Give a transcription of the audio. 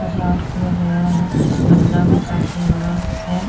सजावट किया गया है झंडा भी काफी बड़ा है।